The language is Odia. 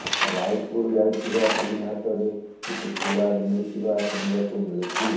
ରାୟପୁର ଯାଇଥିବା ଟିମ୍ ହାତରେ କିଛି ସୁରାଗ ମିଳିଥିବା ଶୁଣିବାକୁ ମିଳୁଛି